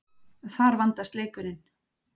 Þar vandast leikurinn.